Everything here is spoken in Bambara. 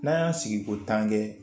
N'an y'a sigi ko tan kɛ